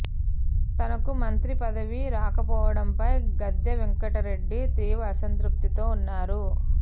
తనకు మంత్రి పదవి రాకపోవడంపై గాదె వెంకటరెడ్డి తీవ్ర అసంతృప్తితో ఉన్నారు